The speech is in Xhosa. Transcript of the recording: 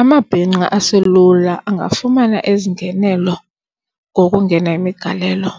Amabhinqa aselula angafumana ezingenelo ngokungena imigalelo.